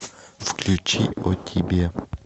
включи о тебе